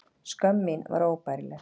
Skömm mín var óbærileg.